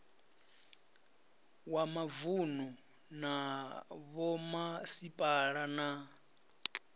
wa mavunu na vhomasipala na